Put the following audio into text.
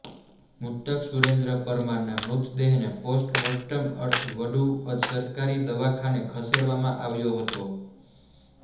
મૃતક સુરેન્દ્ર પરમારના મૃતદેહને પોસ્ટ મોર્ટમ અર્થે વડુ સરકારી દવાખાને ખસેડવામાં આવ્યો હતો